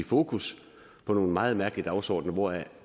fokus med nogle meget mærkelige dagsordener hvoraf